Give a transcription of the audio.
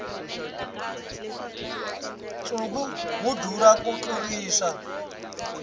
nsuku wu durha ku tlurisa